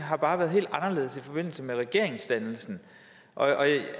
bare været helt anderledes i forbindelse med regeringsdannelsen